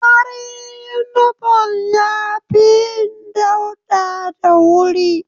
Farin inifom ya fi yin dauɗa da wuri